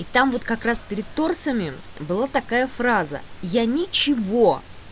и там вот как раз перед тортами была такая фраза я ничего